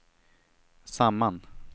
samman